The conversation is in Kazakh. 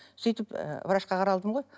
сөйтіп ы врачқа қаралдым ғой